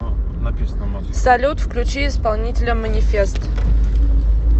салют включи исполнителя манифест